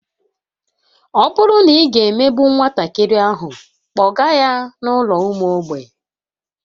Ọ bụrụ na ị ga-emegbu nwatakịrị ahụ, kpọga ya n'ụlọ ụmụ mgbei